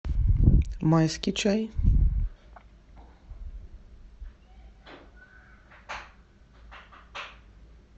майский чай